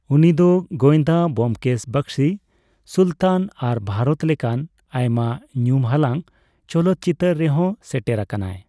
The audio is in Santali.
ᱩᱱᱤᱫᱚ ᱜᱚᱸᱭᱫᱟ ᱵᱳᱢᱠᱮᱥ ᱵᱚᱠᱥᱤ, ᱥᱩᱞᱛᱟᱱ ᱟᱨ ᱵᱷᱟᱨᱚᱛ ᱞᱮᱠᱟᱱ ᱟᱭᱢᱟ ᱧᱩᱢ ᱦᱟᱞᱟᱝ ᱪᱚᱞᱚᱛ ᱪᱤᱛᱟᱹᱨ ᱨᱮᱦᱚᱸ ᱥᱮᱴᱮᱨ ᱟᱠᱟᱱᱟᱭ ᱾